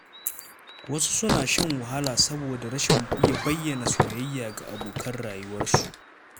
Wasu suna shan wahala saboda rashin iya bayyana soyayya ga abokan rayuwarsu